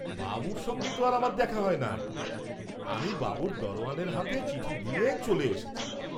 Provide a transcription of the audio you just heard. বাবুর সঙ্গে তো আর আমার দেখা হয় নাই, আমি বাবুর দরওয়ানের হাতে চিঠি দিয়ে চোলে এসেছি।